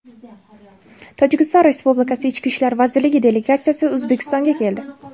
Tojikiston Respublikasi Ichki ishlar vazirligi delegatsiyasi O‘zbekistonga keldi.